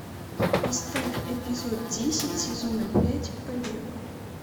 поставь эпизод десять сезона пять побег